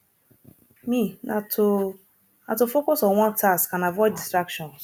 me na to na to focus on one task and avoid distraction